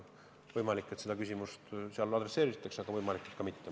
Võimalik, et seda küsimust seal käsitletakse, võimalik, et mitte.